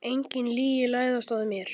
Engin lygi læðast að mér.